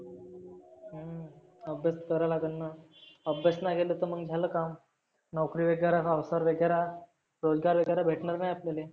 अभ्यास करा लागेलना. अभ्यास नाही केला तर झालं काम. नोकरी वगैरा संसार वगैरा रोजगार वगैरा भेटनार नाही आपल्याले.